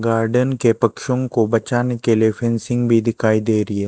Garden के पक्षों को बचाने के लिए फेंसिंग भी दिखाई दे रही है।